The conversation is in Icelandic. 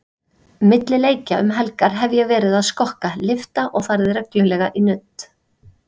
Milli leikja um helgar hef ég verið að skokka, lyfta og farið reglulega í nudd.